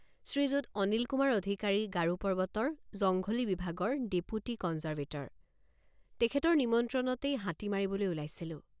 শ্ৰীযুত অনিলকুমাৰ অধিকাৰী গাৰো পৰ্বতৰ জংঘলী বিভাগৰ ডিপুটী কন্জাৰভেটৰ তেখেতৰ নিমন্ত্ৰণতেই হাতী মাৰিবলৈ ওলাইছিলোঁ।